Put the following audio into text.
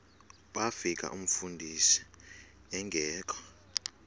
bafika umfundisi engekho